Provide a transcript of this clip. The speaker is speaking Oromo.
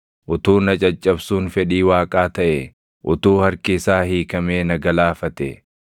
utuu na caccabsuun fedhii Waaqaa taʼee, utuu harki isaa hiikamee na galaafatee!